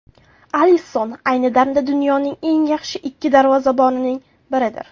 Alisson ayni damda dunyoning eng yaxshi ikki darvozabonining biridir.